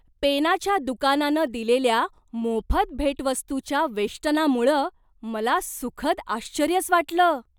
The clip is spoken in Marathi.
पेनाच्या दुकानानं दिलेल्या मोफत भेटवस्तूच्या वेष्टनामुळं मला सुखद आश्चर्यच वाटलं.